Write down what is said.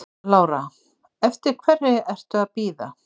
Lára: Eftir hverri ertu að bíða?